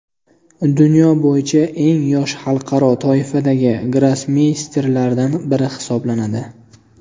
Dunyo bo‘yicha eng yosh xalqaro toifadagi grossmeysterlardan biri hisoblanadi.